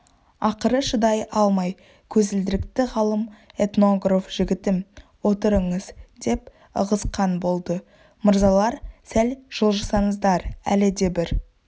ақыры шыдай алмай көзілдірікті ғалым-этнограф жігітім отырыңыз деп ығысқан болды мырзалар сәл жылжысаңыздар әлі де бір